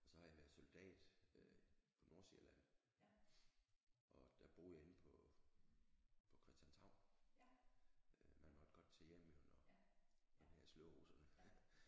Og så har jeg været soldat øh på Nordsjælland og der boede jeg inde på på Christianshavn øh man måtte godt tage hjem jo når når vi havde slået russerne